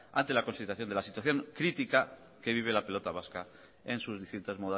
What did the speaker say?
ante la consideración de la situación crítica que vive la pelota vasca en sus distintas